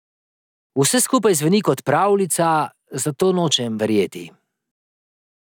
Vse skupaj zveni kot pravljica, zato nočem verjeti.